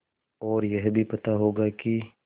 और यह भी पता होगा कि